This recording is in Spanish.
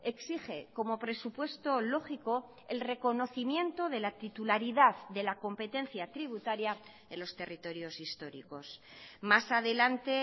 exige como presupuesto lógico el reconocimiento de la titularidad de la competencia tributaria en los territorios históricos más adelante